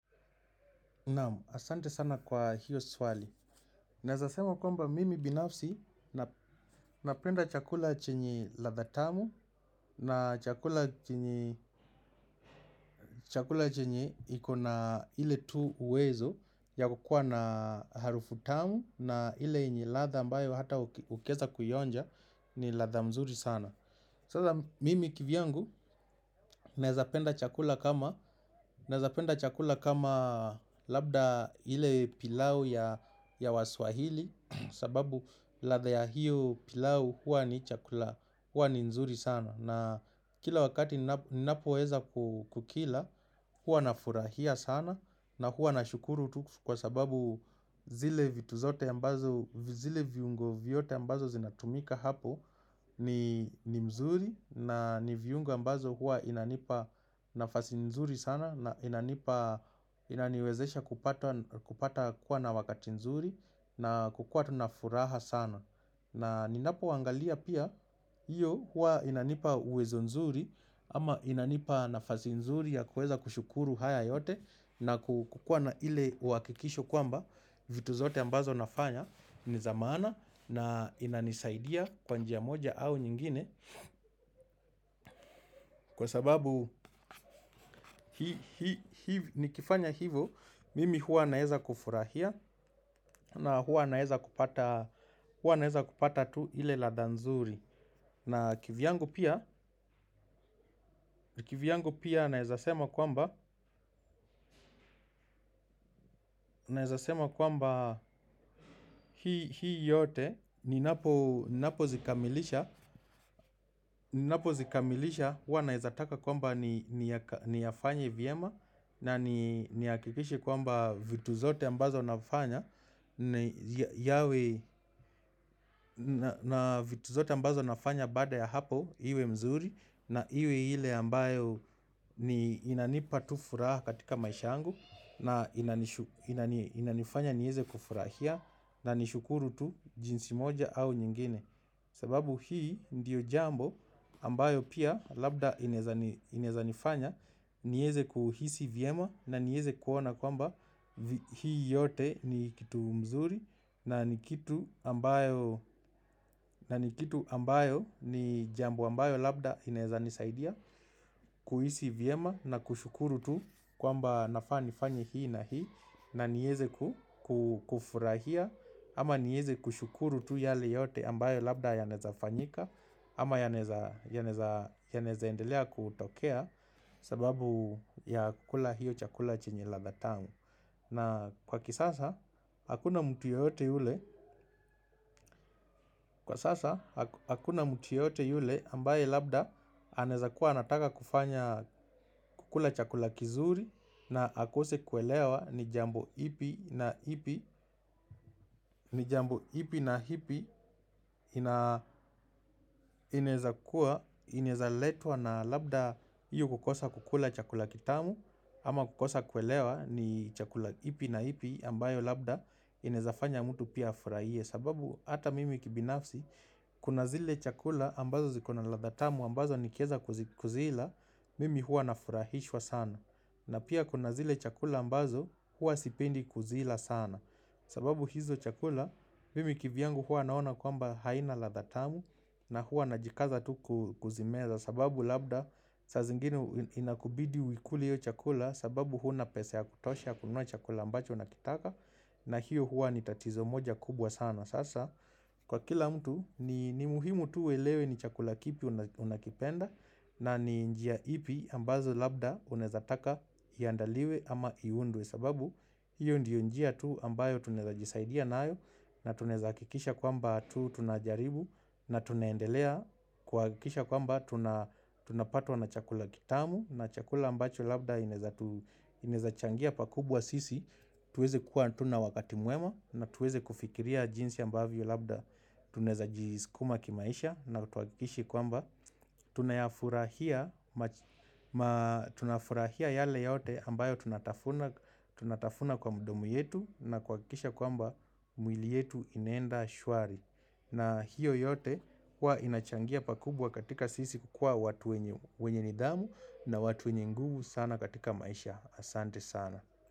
Naam, asante sana kwa hiyo swali. Naeza sema kwamba mimi binafsi napenda chakula chenye ladha tamu na chakula chenye chakula chenye iko na ile tu uwezo ya kukua na harufu tamu na ile yenye ladha ambayo hata ukiweza kuionja ni ladha mzuri sana. Sasa mimi kivyangu naweza penda chakula kama zapenda chakula kama labda ile pilau ya waswahili. Sababu ladha ya hiyo pilau huwa ni nzuri sana. Na kila wakati ninapoweza kukila huwa na furahia sana. Na huwa nashukuru tu kwa sababu zile vitu zote ambazo zile viungo vyote ambazo zinatumika hapo. Ni mzuri na ni viungo ambazo huwa inanipa nafasi nzuri sana. Na inanipa inaniwezesha kupata kuwa na wakati nzuri. Na kukua tu na furaha sana. Na ninapo waangalia pia. Hiyo hua inanipa uwezo nzuri. Ama inanipa nafasi nzuri ya kuweza kushukuru haya yote. Na kukua na ile uhakikisho kwamba vitu zote ambazo nafanya ni za maana na inanisaidia kwa njia moja au nyingine kwa sababu nikifanya hivo mimi huwa naweza kufurahia na huwa naweza kupata tu ile ladha nzuri na kivyangu pia kivyangu pia naweza sema kwamba naweza sema kwamba hii yote ninapo zikamilisha zikamilisha huwa nawezataka kwamba niyafanye vyema. Na nihakikishe kwamba vitu zote ambazo nafanya ni yawe ambazo nafanya baada ya hapo iwe mzuri na iwe ile ambayo inanipa tu furaha katika maisha yangu na inanifanya niweze kufurahia na nishukuru tu jinsi moja au nyingine. Sababu hii ndiyo jambo ambayo pia labda inaweza nifanya. Niweze kuhisi vyema na niweze kuona kwamba hii yote ni kitu mzuri. Na ni kitu ambayo ni jambo ambayo labda inaweza nisaidia. Kuhisi vyema na kushukuru tu kwamba nafaa kufanya hii na hii. Na niweze ku kufurahia ama niweze kushukuru tu yale yote ambayo labda yanaweza fanyika. Ama yanaweza endelea kutokea kwa sababu ya kukula hiyo chakula chenye ladha tamu na kwa kisasa hakuna mtu yeyote yule ambaye labda anawezakuwa anataka kufanya kukula chakula kizuri na akose kuelewa ni jambo ipi na ipi ni jambo ipi na ipi na inawezakua, inaweza letwa na labda hiyo kukosa kukula chakula kitamu ama kukosa kuelewa ni chakula ipi na ipi ambayo labda inaweza fanya mtu pia afurahie kwa sababu hata mimi kibinafsi kuna zile chakula ambazo ziko na ladha tamu ambazo nikiweza kuzila mimi huwa nafurahishwa sana. Na pia kuna zile chakula ambazo huwa sipendi kuzila sana. Sababu hizo chakula mimi kivyangu huwa naona kwamba haina ladha tamu na huwa najikaza tu kuzimeza. Sababu labda saa zingini inakubidi uikule hiyo chakula sababu huna pesa ya kutosha kununua chakula ambacho unakitaka. Na hiyo huwa ni tatizo moja kubwa sana. Sasa kwa kila mtu ni ni muhimu tu uelewe ni chakula kipi unakipenda na ni njia ipi ambazo labda unaweza taka iandaliwe ama iundwe kwa sababu hiyo ndiyo njia tu ambayo tunaweza jisaidia nayo na tunaweza hakikisha kwamba tu tunajaribu na tunaendelea kwa hakikisha kwamba tunapatwa na chakula kitamu na chakula ambacho labda unaweza tu inaweza changia pakubwa sisi tuweze kuwa tu na wakati mwema na tuweze kufikiria jinsi ambavyo labda tunaweza jiskuma kimaisha na tuhakikishe kwamba tunayafurahia tunafurahia yale yote ambayo tunatafuna kwa mdomo yetu na kuhakikisha kwamba mwili yetu inaenda shwari Na hiyo yote kuwa inachangia pakubwa katika sisi kukua watu wenye nidhamu na watu wenye nguvu sana katika maisha. Asante sana.